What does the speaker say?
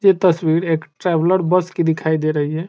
ये तस्वीर एक ट्रेवेलर बस की दिखाई दे रही है।